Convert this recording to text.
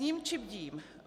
Sním či bdím?